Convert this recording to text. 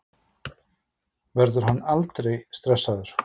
Verður hann aldrei stressaður?